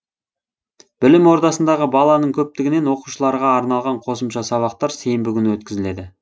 білім ордасындағы баланың көптігінен оқушыларға арналған қосымша сабақтар сенбі күні өткізіледі